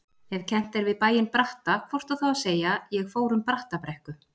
Ef kennt við bæinn Bratta hvort á þá að segja: ég fór um Brattabrekku.